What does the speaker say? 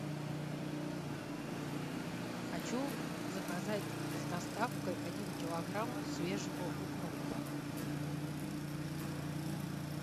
а хочу заказать с доставкой один килограмм свежего укропа